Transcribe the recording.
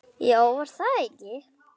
Já, var það ekki!